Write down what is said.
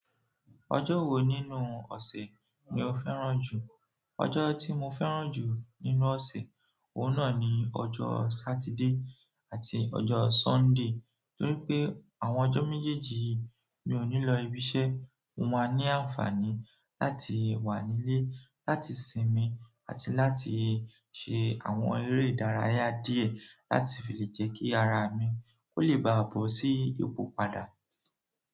Ọjọ́ wo nínú ọ̀sẹ̀ ni o fẹ́ràn jù? Ọjọ́ tí mo fẹ́ràn jù nínú ọ̀sẹ̀, òun náà ni ọjọ́ Saturday àti ọjọ́ Sunday, torí pé àwọn ọjọ́ méjèèjì yìí mi ò ní lọ ibiṣẹ́, mo máa ní àǹfààní láti wà nílé, láti sinmi àti láti ṣe àwọn eré ìdárayá díẹ̀ láti fi lè jẹ́ kí ara mi kó lè bá bòsí ipò padà.